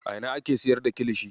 A ina ake siyar da kilishi?